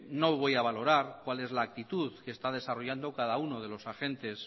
no voy a valorar cuál es la actitud que está desarrollando cada uno de los agentes